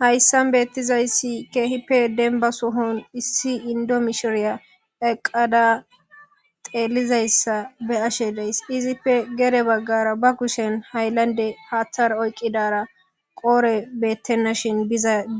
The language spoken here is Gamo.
hayssan beettizayssi keehipe denba sohon issi indo mishoreya eqqada xeelizayssa be ashe dees izife gere baggara ba kushen hayllande haathar oyqidara qoore beettenna shin